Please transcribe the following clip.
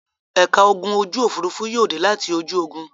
Ẹ̀ka ogun ojú-òfurufú yóò dé láti ojú ogun.